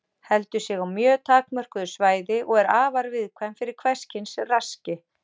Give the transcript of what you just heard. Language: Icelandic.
Heldur sig á mjög takmörkuðu svæði og er afar viðkvæm fyrir hvers kyns raski.